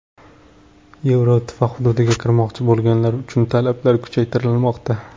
Yevroittifoq hududiga kirmoqchi bo‘lganlar uchun talablar kuchaytirilmoqda.